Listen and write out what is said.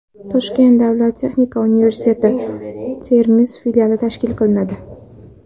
Toshkent davlat texnika universiteti Termiz filiali tashkil qilinadi.